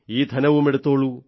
ഈ ധനവുമെടുത്തോളൂ